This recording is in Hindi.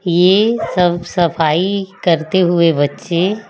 ये सब सफाई करते हुए बच्चे--